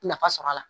Nafa sɔrɔ a la